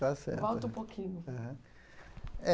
Está certo conta um pouquinho. Aham